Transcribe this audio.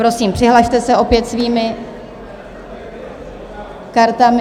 Prosím, přihlaste se opět svými kartami.